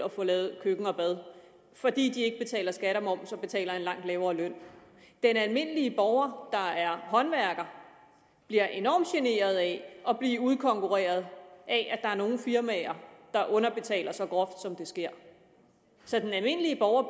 at få lavet køkken og bad fordi de ikke betaler skat og moms og betaler en langt lavere løn den almindelige borger der er håndværker bliver enormt generet af at blive udkonkurreret af at der er nogle firmaer der underbetaler så groft som det sker så den almindelige borger